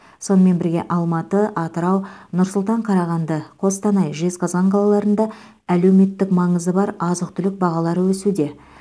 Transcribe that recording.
сонымен бірге алматы атырау нұр сұлтан қарағанды қостанай жезқазған қалаларында әлеуметтік маңызы бар азық түлік бағалары өсуде